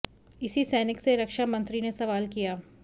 इसी सैनिक से रक्षा मंत्री ने सवाल किया